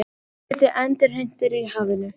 Flugriti endurheimtur í hafinu